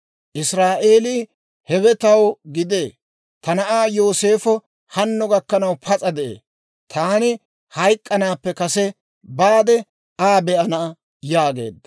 Israa'eelii, «Hewe taw gidee; ta na'aa Yooseefo hanno gakkanaw pas'a de'ee! Taani hayk'k'anaappe kase baade, Aa be'ana» yaageedda.